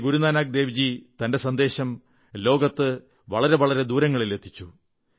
ശ്രീ ഗുരുനാനക് ദേവ്ജി തന്റെ സന്ദേശം ലോകത്ത് ദൂരെ ദൂരെ എത്തിച്ചു